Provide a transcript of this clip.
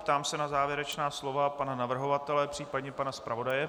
Ptám se na závěrečná slova pana navrhovatele, případně pana zpravodaje.